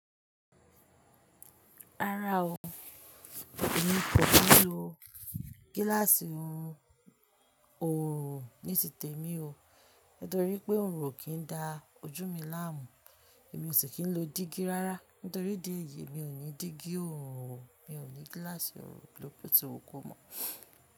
Rárá o, èmi kò fi lo gílàsì un ọ̀rùn oo níi titẹ̀mi o. Nítorí pé ọ̀rùn o kì í da ojú mi láàmú. Èmi sì kín ń lo dígí rárá. Nítorí idí ẹ̀yìí mi ò ní dígí ọ̀rùn o, mi ò ní gílàsì ọ̀rùn bo ti le wu kọ̀ mọ́.